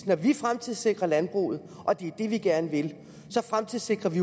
når vi fremtidssikrer landbruget og det er det vi gerne vil fremtidssikrer vi